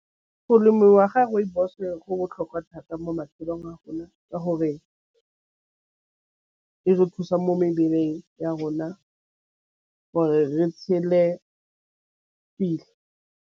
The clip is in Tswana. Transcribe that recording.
Go lemiwa ga rooibos-e go botlhokwa thata mo matšhelong a rona ka gore e re thusa mo mebeleng ya rona gore re tšhele pila.